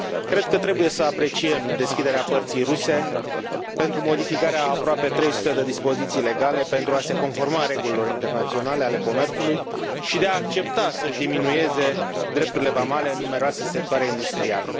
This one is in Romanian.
Cred că trebuie să apreciem deschiderea părții ruse pentru modificarea a aproape 300 de dispozițiile legale pentru a se conforma regulilor internaționale ale comerțului, și de a accepta să și diminueze drepturile vamale în numeroase sectoare industriale.